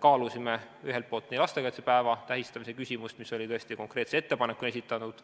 Kaalusime ühelt poolt lastekaitsepäeva tähistamise küsimust, mis oli konkreetse ettepanekuna esitatud,